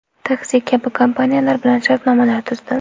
Taksi” kabi kompaniyalar bilan shartnomalar tuzdi.